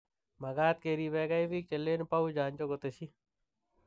Magat keribegei bik che len bou chanjo", kotesyi.